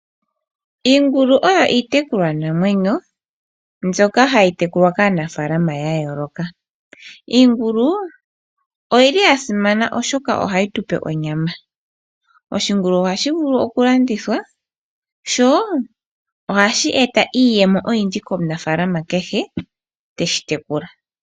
Iingulu oyo iitekulwanamwenyo mbyoka hayi tekulwa kaanafalama ya yooloka. Iingulu oyili ya simana oshoka ohayi tu pe onyama. Oshingulu ohashi vulu okulandithwa, sho ohashi eta iiyemo oyindji komunafalama kehe teshi tekula.